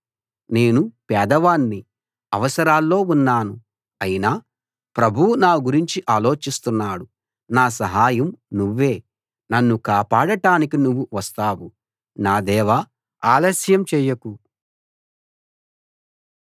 నేను పేదవాణ్ణి అవసరాల్లో ఉన్నాను అయినా ప్రభువు నా గురించి ఆలోచిస్తున్నాడు నా సహాయం నువ్వే నన్ను కాపాడటానికి నువ్వు వస్తావు నా దేవా ఆలస్యం చేయకు